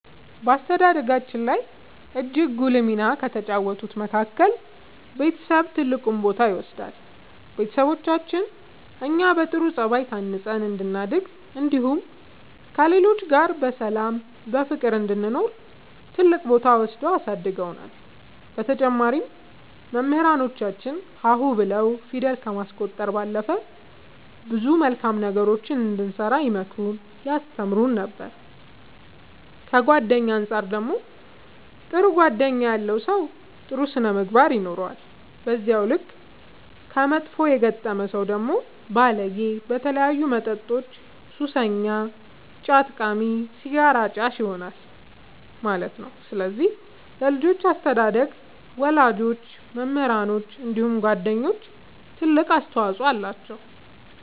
በአስተዳደጋችን ላይ እጅግ ጉልህ ሚና ከተጫወቱት መካከል ቤተሰብ ትልቁን ቦታ ይወስዳሉ ቤተሰቦቻችን እኛ በጥሩ ጸባይ ታንጸን እንድናድግ እንዲሁም ከሌሎች ጋር በሰላም በፍቅር እንድንኖር ትልቅ ቦታ ወስደው አሳድገውናል በተጨማሪም መምህራኖቻችን ሀ ሁ ብለው ፊደል ከማስቆጠር ባለፈ ብዙ መልካም ነገሮችን እንድንሰራ ይመክሩን ያስተምሩን ነበር ከጓደኛ አንፃር ደግሞ ጥሩ ጓደኛ ያለው ሰው ጥሩ ስነ ምግባር ይኖረዋል በዛው ልክ ከመጥፎ የገጠመ ሰው ደግሞ ባለጌ በተለያዩ መጠጦች ሱሰኛ ጫት ቃሚ ሲጋራ አጫሽ ይሆናል ማለት ነው ስለዚህ ለልጆች አስተዳደግ ወላጆች መምህራኖች እንዲሁም ጓደኞች ትልቅ አስተዋፅኦ አላቸው።